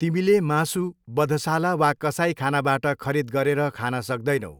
तिमीले मासु बधशाला वा कसाईखानाबाट खरिद गरेर खाना सक्दैनौ।